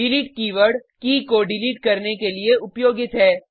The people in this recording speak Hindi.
डिलीट कीवर्ड की को डिलीट करने के लिए उपयोगित है